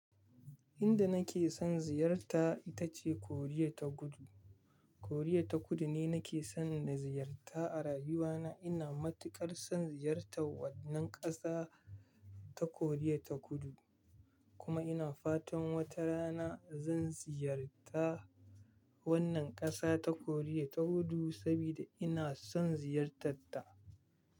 Inda nake son ziyarta ita ce Koriya ta Kudu. Koriya ta Kudu ne nake son na ziyarta a rayuwana. Ina matuƙar son ziyartar wannan ƙasa ta Koriya ta Kudu, kuma ina fatan wata rana zan ziyarta wannan ƙasa ta Koriya ta Kudu saboda ina son ziyartar ta.